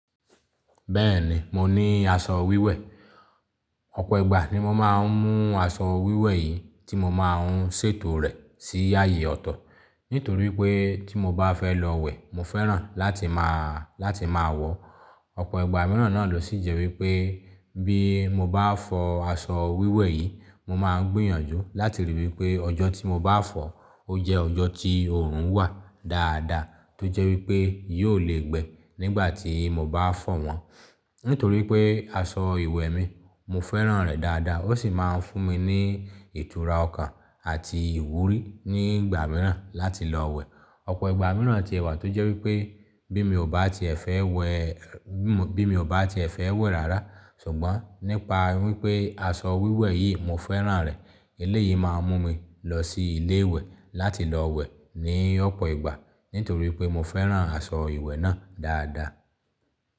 Bẹ́ẹ̀ni, mo ní aṣọ wíwẹ̀. Ọ̀pọ̀ ìgbà ni mo máa ń mú aṣọ wíwẹ̀ yìí tí mo máa ń ṣètò rẹ̀ sí ààyè ọ̀tọ̀. Nítorí pé tí mo bá fẹ́ lọ wẹ̀, mo fẹ́ràn láti máa, láti máa wọ ọ̀pọ̀ ìgbà mìíràn náà lọ sí jẹ wípé pé bí mo bá fọ aṣọ wíwẹ̀ yìí, mo máa ń gbìyànjú láti ríi wí pé ọjọ́ tí mo bá fọ̀ ó jẹ́ ọjọ́ tí òórùn wà dáadáa tó jẹ́ wí pé yóò le gbẹ nígbà tí mo bá fọ̀ wọ́n. Nítorí pé aṣọ ìwẹ̀ mi, mo fẹ́ràn rẹ̀ dáadáa ó sì máa ń fún mi ní ìtura ọkàn àti ìwúrí ní ìgbà mìíràn láti lọ wẹ̀. Ọ̀pọ̀ ìgbà mìíràn ti wà tó jẹ́ wí pé bí mi ò bá tiẹ̀ fẹ́ wẹ̀, bí mo, bí mi ò bá tiẹ̀ fẹ́ wẹ̀ rárá ṣùgbọ́n nípa wí pé aṣọ wíwẹ̀ yìí mo fẹ́ràn rẹ̀, eléyìí máa mú mi lọ sí ilé ìwẹ̀ láti lọ wẹ̀ ní ọ̀pọ̀ ìgbà nítorí pé mo fẹ́ràn aṣọ ìwẹ̀ náà dáadáa.